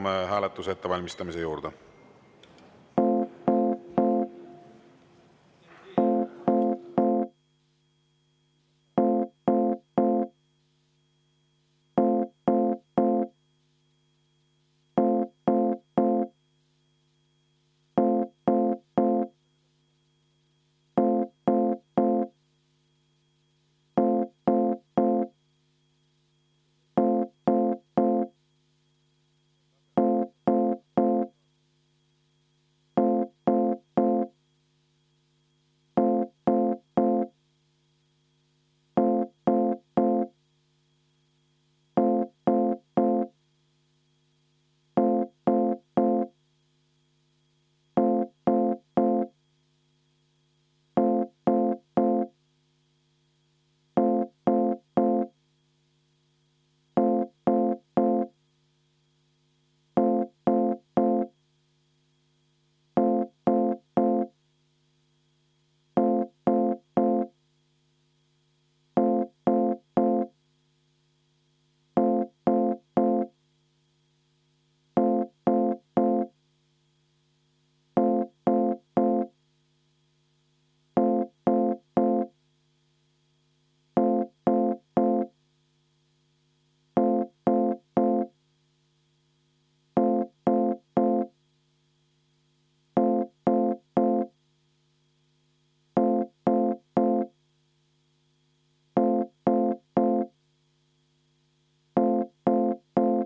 Me asume hääletuse ettevalmistamise juurde.